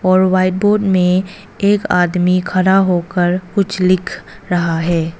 और white board में एक आदमी खड़ा होकर कुछ लिख रहा है।